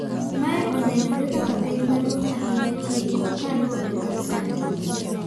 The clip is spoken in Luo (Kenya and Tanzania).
Mae onenore kaka penj maduong' ahinya tieko kaluore kod Santos.